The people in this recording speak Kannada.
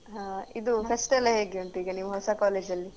ಹ ಇದು fest ಎಲ್ಲ ಹೀಗೆ ಅಂತೆ ಈಗ ನಿಮ್ ಹೊಸ college ಅಲ್ಲಿ?